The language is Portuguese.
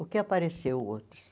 O que apareceu outros?